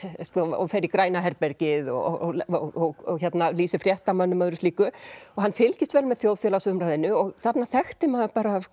og fer í græna herbergið og lýsir fréttamönnum og öðru slíku og hann fylgist vel með þjóðfélagsumræðunni og þarna þekkti maður